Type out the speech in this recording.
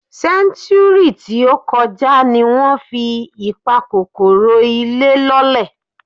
Sẹ́ńtúúrì tí ó kọjá ni wọ́n fi ìpakòkòrò ilé lọ́lẹ̀.